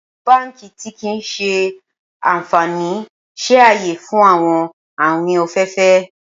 Awọn banki ti kii ṣe anfani ṣe aye fun awọn awin ọfẹ ọfẹ